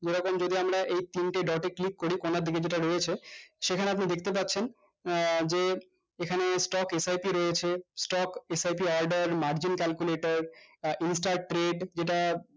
যেরকম যদি আমরা তিনটে dot এ click করি কোনার দিকে যেইটা রয়েছে সেখানে আপনি দেখতে পাচ্ছেন আহ যে এখানে stock sip রয়েছে stock sip margin calculator আহ instar trade যেইটা